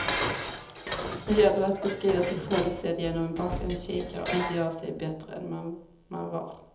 Nu gäller det att beskriva sig själv sedd genom en bakvänd kikare och inte göra sig bättre än man var.